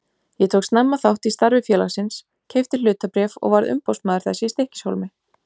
Ég tók snemma þátt í starfi félagsins, keypti hlutabréf og varð umboðsmaður þess í Stykkishólmi.